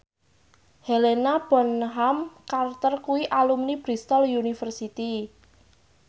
Helena Bonham Carter kuwi alumni Bristol university